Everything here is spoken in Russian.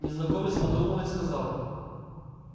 незнакомец подумал и сказал